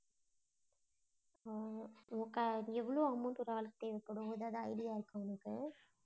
ஆஹ் okay எவ்வளவு amount ஒரு ஆளுக்கு இருக்கணும், ஏதாவது idea இருக்கா உனக்கு?